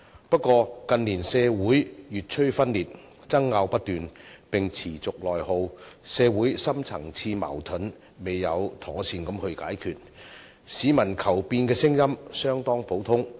不過，近年社會越趨分裂，爭拗不斷並持續內耗，社會深層次矛盾未有妥善解決，市民求變的聲音相當普遍。